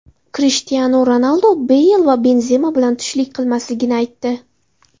Krishtianu Ronaldu Beyl va Benzema bilan tushlik qilmasligini aytdi.